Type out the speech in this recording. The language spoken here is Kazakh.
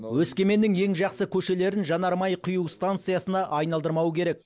өскеменнің ең жақсы көшелерін жанармай құю станциясына айналдырмау керек